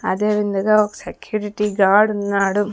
అదే విందగా ఒక సెక్యూరిటీ గార్డున్నాడు ఉన్నాడు.